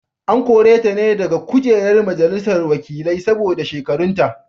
An kore ta ne daga kujerar majalisar wakilai saboda shekarunta.